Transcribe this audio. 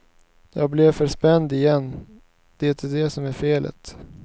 Jag blev för spänd igen, det är det som är felet.